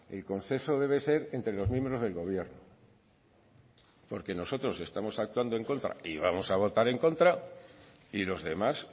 el consenso debe ser entre los miembros del gobierno porque nosotros estamos actuando en contra y vamos a votar en contra y los demás